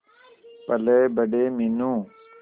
पलेबड़े Meenu